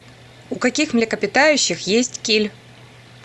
у каких млекопитающих есть киль